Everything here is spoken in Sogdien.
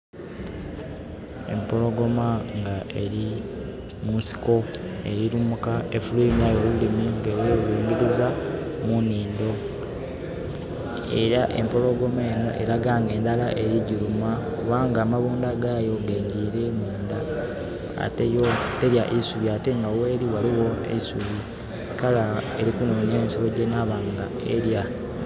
Empologoma nga eri mu nsiko eri lumuka efulwimiayo olulimi nga ei ku lulingiliza mu nhindo. Era empologoma enho eraga nga endhala eri ku giluma kubanga amabundha gayo gengire munda. Ate yo terya isubi ate nga gheri ghaligho isubi, kale eri ku nonya nsolo gye nabanga erya.